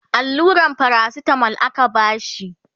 alluran paracetamol aka bashi